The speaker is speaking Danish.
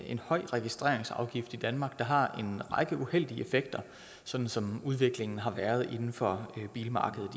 en høj registreringsafgift i danmark der har en række uheldige effekter sådan som udviklingen har været inden for bilmarkedet